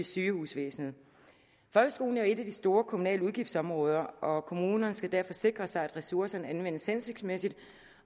sygehusvæsenet folkeskolen er jo et af de store kommunale udgiftsområder og kommunerne skal derfor sikre sig at ressourcerne anvendes hensigtsmæssigt